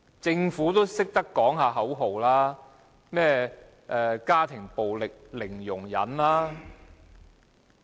政府也懂得喊口號，說甚麼"家庭暴力零容忍"。